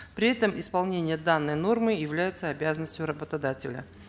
при этом исполение данной нормы является обязанностью работодателя